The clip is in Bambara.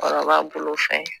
Cɛkɔrɔba bolofɛn